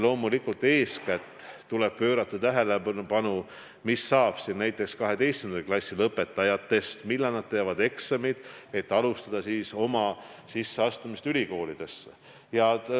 Loomulikult tuleb eeskätt pöörata tähelepanu sellele, mis saab näiteks 12. klassi lõpetajatest, millal nad teevad eksamid, et alustada oma sisseastumist ülikooli.